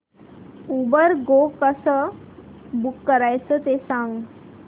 Uber Go कसं book करायचं ते सांग